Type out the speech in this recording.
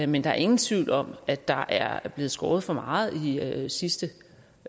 men der er ingen tvivl om at der er blevet skåret for meget ned i sidste